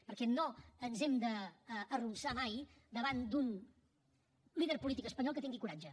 perquè no ens hem d’arronsar mai davant d’un líder polític espanyol que tingui coratge